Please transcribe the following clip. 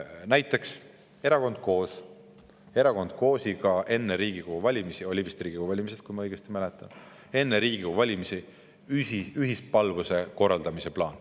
Näiteks oli tal erakonnaga Koos enne Riigikogu valimisi – olid siis vist Riigikogu valimised, kui ma õigesti mäletan – ühispalvuse korraldamise plaan.